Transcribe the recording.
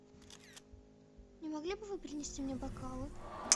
не могли бы вы принести мне бокалы